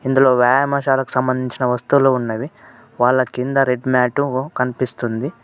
ఇందులో వ్యాయామషాలకు సంబంధించిన వస్తువులు ఉన్నవి వాళ్ల కింద రెడ్ మ్యాటు కనిపిస్తుంది.